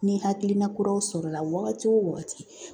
Ni hakilina kuraw sɔrɔla wagati o wagati